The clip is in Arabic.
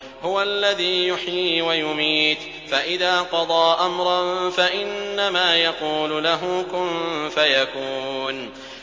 هُوَ الَّذِي يُحْيِي وَيُمِيتُ ۖ فَإِذَا قَضَىٰ أَمْرًا فَإِنَّمَا يَقُولُ لَهُ كُن فَيَكُونُ